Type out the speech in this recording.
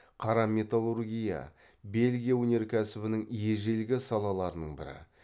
қара металлургия бельгия өнеркәсібінің ежелгі салаларының бірі